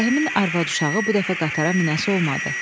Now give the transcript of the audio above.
Ağarəhimin arvad-uşağı bu dəfə qatara minəsi olmadı.